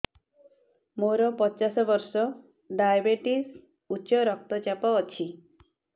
ମୋର ପଚାଶ ବର୍ଷ ଡାଏବେଟିସ ଉଚ୍ଚ ରକ୍ତ ଚାପ ଅଛି